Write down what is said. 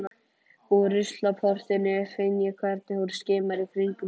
Úr ruslaportinu finn ég hvernig hún skimar í kringum sig.